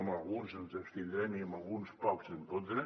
en alguns ens abstindrem i en alguns pocs en contra